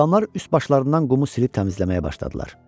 Adamlar üst başlarından qumu silib təmizləməyə başladılar.